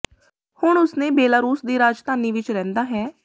ਹੁਣ ਉਸ ਨੇ ਬੇਲਾਰੂਸ ਦੀ ਰਾਜਧਾਨੀ ਵਿਚ ਰਹਿੰਦਾ ਹੈ